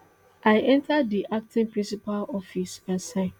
i enta di acting principal office and sign